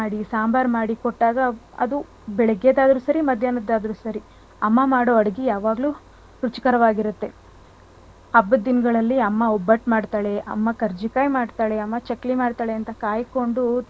ಸಾಂಬಾರ್ ಮಾಡಿ ಕೊಟ್ಟಾಗ ಅದು ಬೆಳಿಗ್ಗೆದಾದ್ರು ಸರಿ ಮಧ್ಯಾಹ್ನದಾದ್ರು ಸರಿ ಅಮ್ಮ ಮಾಡೋ ಅಡ್ಗೆ ಯಾವಾಗ್ಲೂ ರುಚಿಕರವಾಗಿರುತ್ತೆ. ಹಬ್ಬದ್ ದಿನಗಳ್ಳಲ್ಲಿ ಅಮ್ಮ ಒಬ್ಬಟ್ ಮಾಡ್ತಾಳೆ ಅಮ್ಮ ಕರ್ಜಿಕಾಯ್ ಮಾಡ್ತಾಳೆ ಅಮ್ಮ ಚಕ್ಲಿ ಮಾಡ್ತಾಳೆ ಅಂತ ಕಾಯ್ಕೊಂಡು,